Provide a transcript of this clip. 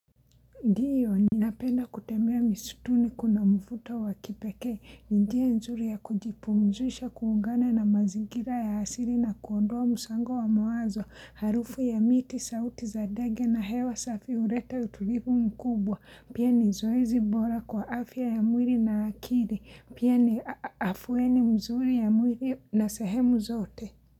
Ndiyo, ninapenda kutembea mistuni kuna mvuto wa kipekee. Njia nzuri ya kujipumzisha kuungana na mazingira ya asili na kuondoa msongo wa mawazo. Harufu ya miti, sauti za ndege na hewa safi huleta utulivu mkubwa. Pia ni zoezi bora kwa afya ya mwili na akili. Pia ni afueni mzuri ya mwili na sehemu zote.